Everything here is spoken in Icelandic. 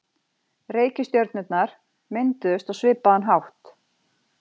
Reikistjörnurnar mynduðust á svipaðan hátt.